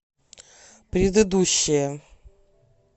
предыдущая